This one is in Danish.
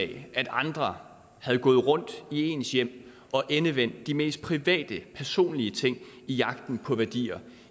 det at andre havde gået rundt i ens hjem og endevendt de mest private personlige ting i jagten på værdier